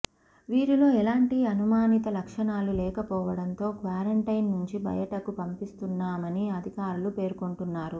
వీరిలో ఎలాంటి అనుమానిత లక్షణాలు లేకపోవడంతో క్వారంటైన్ నుంచి బయటకు పంపిస్తున్నామని అధికారులు పేర్కొంటున్నారు